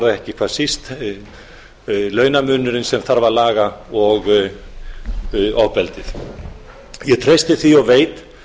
ekki hvað síst launamunurinn sem þarf að laga og ofbeldið ég treysti því og veit